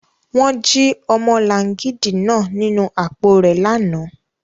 Wọn ji ọmọlangidi naa ninu apo rẹ lana